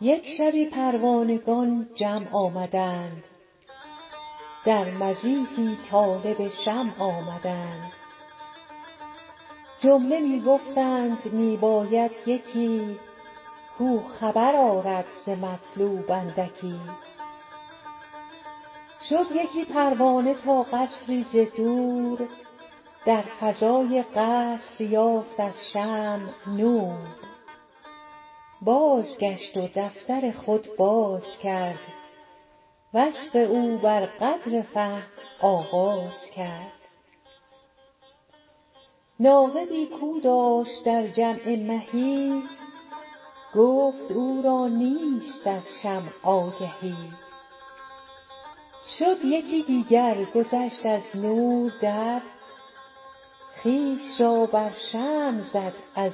یک شبی پروانگان جمع آمدند در مضیفی طالب شمع آمدند جمله می گفتند می باید یکی کو خبر آرد ز مطلوب اندکی شد یکی پروانه تا قصری ز دور در فضاء قصر یافت از شمع نور بازگشت و دفتر خود بازکرد وصف او بر قدر فهم آغاز کرد ناقدی کو داشت در جمع مهی گفت او را نیست از شمع آگهی شد یکی دیگر گذشت از نور در خویش را بر شمع زد از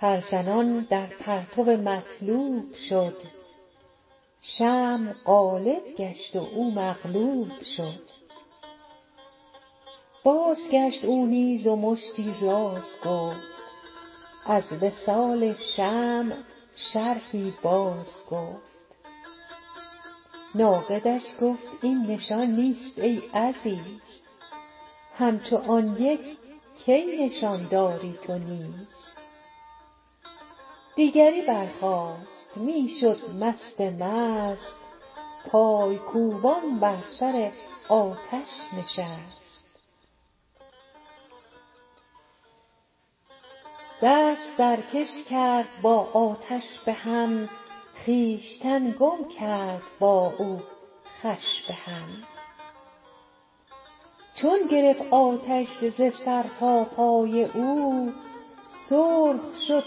دور در پر زنان در پرتو مطلوب شد شمع غالب گشت و او مغلوب شد بازگشت او نیز و مشتی راز گفت از وصال شمع شرحی باز گفت ناقدش گفت این نشان نیست ای عزیز همچو آن یک کی نشان دادی تو نیز دیگری برخاست می شد مست مست پای کوبان بر سر آتش نشست دست درکش کرد با آتش به هم خویشتن گم کرد با او خوش به هم چون گرفت آتش ز سر تا پای او سرخ شد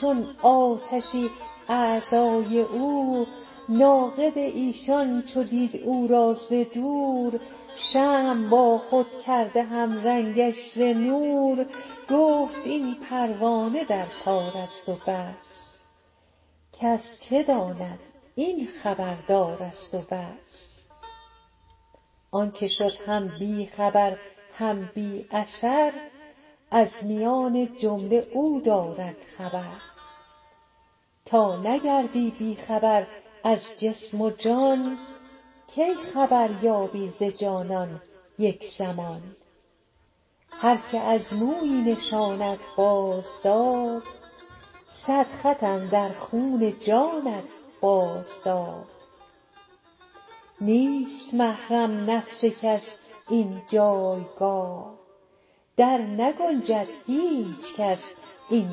چون آتشی اعضای او ناقد ایشان چو دید او را ز دور شمع با خود کرده هم رنگش ز نور گفت این پروانه در کارست و بس کس چه داند این خبر دارست و بس آنک شد هم بی خبر هم بی اثر از میان جمله او دارد خبر تا نگردی بی خبر از جسم و جان کی خبر یابی ز جانان یک زمان هرکه از مویی نشانت باز داد صد خط اندر خون جانت باز داد نیست محرم نفس کس این جایگاه در نگنجد هیچ کس این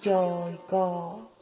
جایگاه